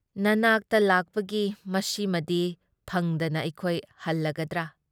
ꯅꯅꯥꯛꯇ ꯂꯥꯛꯄꯒꯤ ꯃꯁꯤꯃꯗꯤ ꯐꯪꯗꯅ ꯑꯩꯈꯣꯏ ꯍꯜꯂꯒꯗ꯭ꯔꯥ?